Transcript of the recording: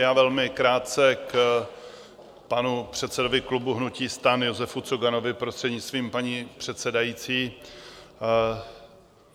Já velmi krátce k panu předsedovi klubu hnutí STAN Josefu Coganovi, prostřednictvím paní předsedající.